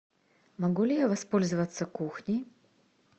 могу ли я воспользоваться кухней